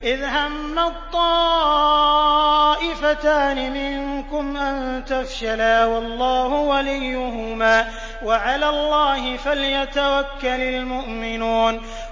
إِذْ هَمَّت طَّائِفَتَانِ مِنكُمْ أَن تَفْشَلَا وَاللَّهُ وَلِيُّهُمَا ۗ وَعَلَى اللَّهِ فَلْيَتَوَكَّلِ الْمُؤْمِنُونَ